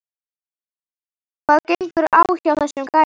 Hvað gengur á hjá þessum gæja???